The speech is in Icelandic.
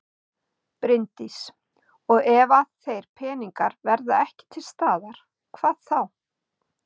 Bryndís: Og ef að þeir peningar verða ekki til staðar, hvað þá?